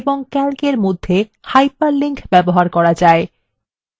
calcএর মধ্যে hyperlinks ব্যবহার করা যায়